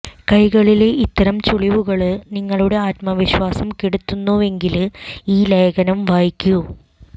കൈകളിലെ ഇത്തരം ചുളിവുകള് നിങ്ങളുടെ ആത്മവിശ്വാസം കെടുത്തുന്നുവെങ്കില് ഈ ലേഖനം വായിക്കൂ